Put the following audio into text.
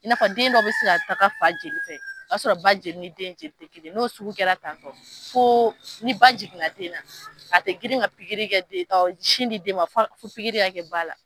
I n'a fɔ den dɔ bɛ se ka taga fa joli fɛ o y'a sɔrɔ ba joli ni den ta tɛ kelen n'o sugu kɛra tan tɔ fo ni ba jiginna den na a tɛ girin ka sin di den ma fo pikiri kɛ ba la